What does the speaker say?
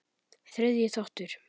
Þriðji þáttur